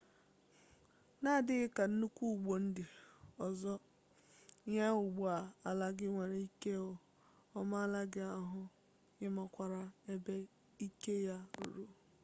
n'adịghị ka nnukwu ụgbọ ndị ọzọ ịnya ụgbọ ala gị nwere ike ọ maala gị ahụ ị makwaara ebe ike ya ruru